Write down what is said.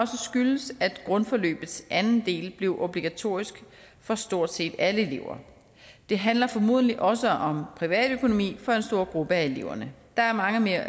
skyldes at grundforløbets anden del blev obligatorisk for stort set alle elever det handler formodentlig også om privatøkonomi for en stor gruppe af eleverne der er mange